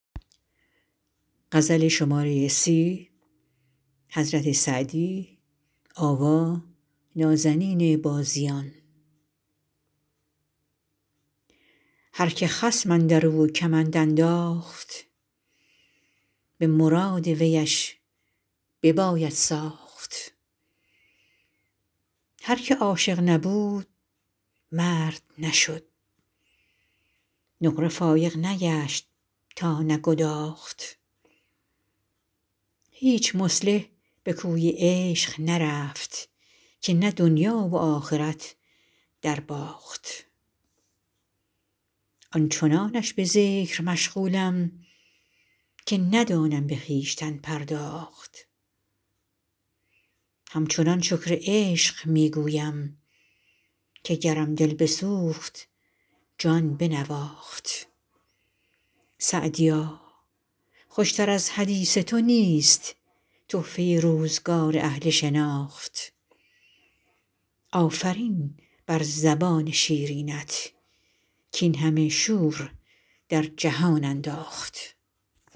هر که خصم اندر او کمند انداخت به مراد ویش بباید ساخت هر که عاشق نبود مرد نشد نقره فایق نگشت تا نگداخت هیچ مصلح به کوی عشق نرفت که نه دنیا و آخرت درباخت آن چنانش به ذکر مشغولم که ندانم به خویشتن پرداخت همچنان شکر عشق می گویم که گرم دل بسوخت جان بنواخت سعدیا خوش تر از حدیث تو نیست تحفه روزگار اهل شناخت آفرین بر زبان شیرینت کاین همه شور در جهان انداخت